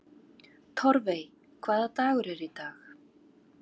Torfey, hvaða dagur er í dag?